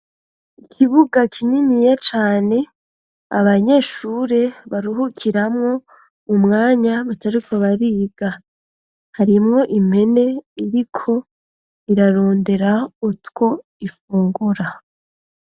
Ikibuga kininiya cane abanyeshure baruhukiramwo umwanya batariko bariga. Harimwo impene iriko irarondera utwo ifungura.